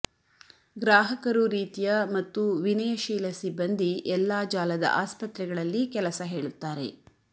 ಗ್ರಾಹಕರು ರೀತಿಯ ಮತ್ತು ವಿನಯಶೀಲ ಸಿಬ್ಬಂದಿ ಎಲ್ಲಾ ಜಾಲದ ಆಸ್ಪತ್ರೆಗಳಲ್ಲಿ ಕೆಲಸ ಹೇಳುತ್ತಾರೆ